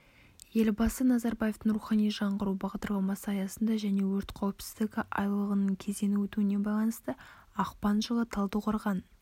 елбасы назарбаевтың рухани жаңғыру бағдарламасы аясында және өрт қауіпсіздігі айлығының кезеңі өтуіне байланысты ақпан жылы талдықорған